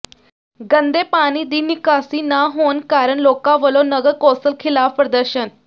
ਗੰਦੇ ਪਾਣੀ ਦੀ ਨਿਕਾਸੀ ਨਾ ਹੋਣ ਕਾਰਨ ਲੋਕਾਂ ਵਲੋਂ ਨਗਰ ਕੌਾਸਲ ਿਖ਼ਲਾਫ਼ ਪ੍ਰਦਰਸ਼ਨ